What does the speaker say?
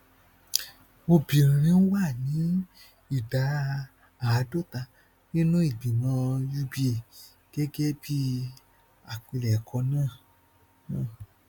obìnrin wà ní ìdá àádọta nínú ìgbìmọ uba gẹgẹ bí àpilẹkọ náà náà